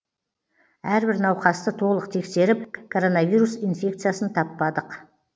әрбір науқасты толық тексеріп коронавирус инфекциясын таппадық